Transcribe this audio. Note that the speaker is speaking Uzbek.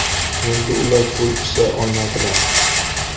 Endi ular pul ishlay olmaydilar.